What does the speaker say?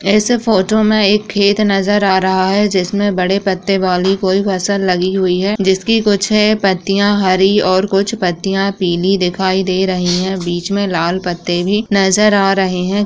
ऐसे फोटो में एक खेत नज़र आ रहा है जिसमे बड़े पत्ते वाली कोई फसल लगी हुई है जिसकी कुछ पत्तियां हरी और कुछ पत्तियां पीली दिखाई दे रही हैं बीच में लाल पत्ते भी नज़र आ रहे हैं।